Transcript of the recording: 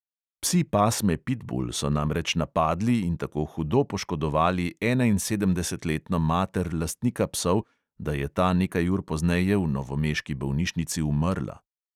Psi pasme pitbul so namreč napadli in tako hudo poškodovali enainsedemdesetletno mater lastnika psov, da je ta nekaj ur pozneje v novomeški bolnišnici umrla.